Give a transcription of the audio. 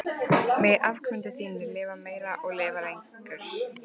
Megi afkomendur þínir lifa meir og lifa lengur.